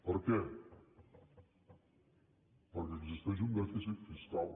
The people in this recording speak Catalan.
per què perquè existeix un dèficit fiscal